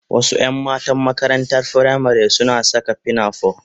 Wasu 'yan matan makarantar firamari suna saka pinafore